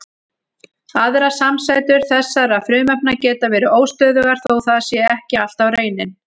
Aðrar samsætur þessara frumefna geta verið óstöðugar þó það sé ekki alltaf raunin.